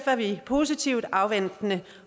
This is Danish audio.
er vi positivt afventende